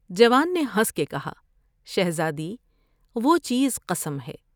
جوان نے ہنس کے کہا '' شہزادی ، وہ چیز قسم ہے ۔